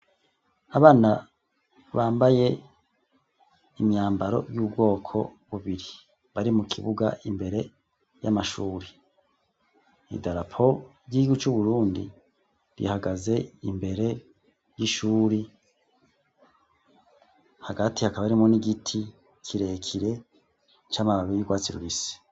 Abana bambaye imyambaro y'ubwoko bubiri, bari mu kibuga imbere y'amashuri, idarapo ry'igihugu c'Uburundi rihagaze imbere y'ishuri, hagati hakaba harimwo n'igiti kirekire c'amababi y'urwatsi rubisi.